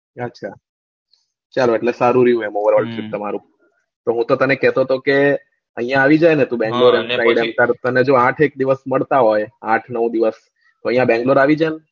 આછા ચલ એટલે સારું રહ્યું એમાં તમારું હું તો તને કેતો હતો કે આયા આઈ જાને તું બેંગ્લોર તને જો આઠ એક દિવસ મળતા હોય આઠ નવ દિવસ તો આયા બેંગ્લોર આઈ જાન